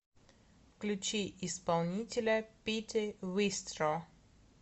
включи исполнителя пити вистро